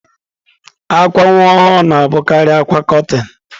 Akwa nwa ọhụrụ na-abụkarị akwa kọtịn.